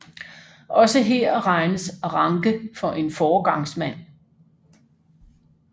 Også her regnes Ranke for en foregangsmand